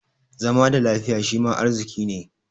Zama da lafiya shima arziƙi ne.